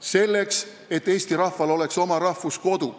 Selleks, et eesti rahval oleks oma rahvuskodu.